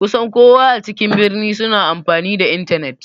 Kusan kowa a cikin birni suna amfani da intanet.